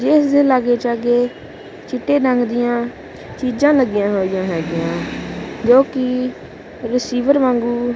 ਇਸ ਦੇ ਲਾਗੇ ਛਾਗੇ ਚਿੱਟੇ ਰੰਗ ਦੀਆਂ ਚੀਜ਼ਾਂ ਲੱਗੀਆਂ ਹੋਈਆਂ ਹੈਗੀਆਂ ਜੋ ਕਿ ਰਿਸੀਵਰ ਵਾਂਗੂੰ--